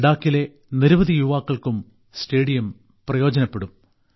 ലഡാക്കിലെ നിരവധി യുവാക്കൾക്കും സ്റ്റേഡിയം പ്രയോജനപ്പെടും